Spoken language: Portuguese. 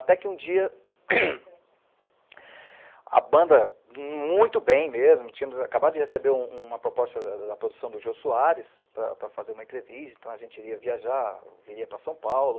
Até que um dia, a banda, muito bem mesmo, tínhamos acabado de receber uma proposta da produção do Jô Soares para fazer uma entrevista, então a gente iria viajar, viria para São Paulo.